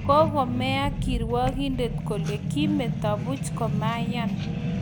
Kongomea kirwakindet kole kimetoo buuch komayan